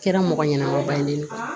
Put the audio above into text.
Kɛra mɔgɔ ɲɛnɛma ba ye ne